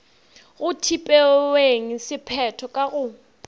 go tpeweng sephetho ka go